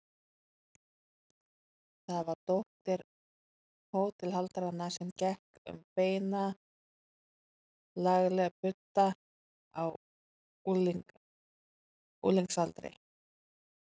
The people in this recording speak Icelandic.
Það var dóttir hótelhaldaranna sem gekk um beina, lagleg budda á unglingsaldri.